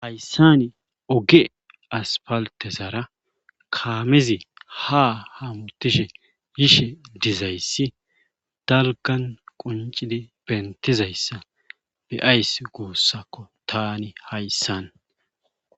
hayssani oge aspaltezara kaamizi ha hamutishe yishe dizayssi dalgan quncidi bentizayssa be7ayss goossakko tani hayssan